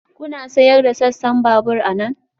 Kuna sayar da sassan babur anan?